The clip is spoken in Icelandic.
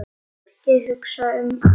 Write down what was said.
Ekki hugsa um mat!